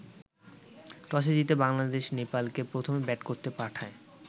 টসে জিতে বাংলাদেশ নেপালকে প্রথম ব্যাট করতে পাঠায়।